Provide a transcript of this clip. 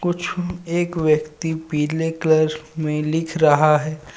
कुछ एक व्यक्ति पिले कलर में लिख रहा है.